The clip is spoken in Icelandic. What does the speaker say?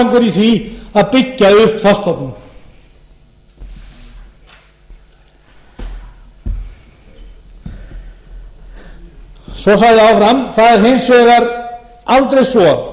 góðan árangur í því að byggja upp þorskstofninn svo sagði ráðherrann það er hins vegar aldrei svo að allir